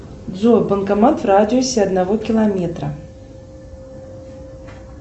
джой банкомат в радиусе одного километра